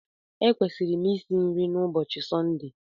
Ekwesịrị m isi nri na ụbọchị Sọnde